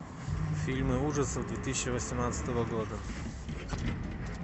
фильмы ужасов две тысячи восемнадцатого года